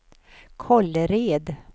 Kållered